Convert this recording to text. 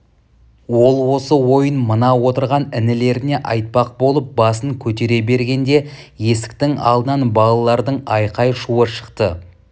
ол осы ойын мына отырған інілеріне айтпақ болып басын көтере бергенде есіктің алдынан балалардың айқай-шуы шықты